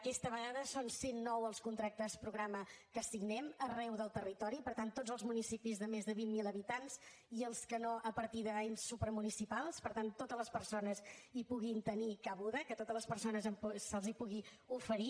aquesta vegada són cent nou els contractes programes que signem arreu del territori per tant tots els municipis de més de vint mil habitants i els que no a partir d’ens supramunicipals per tant que totes les persones hi puguin tenir cabuda que a totes les persones se’ls pugui oferir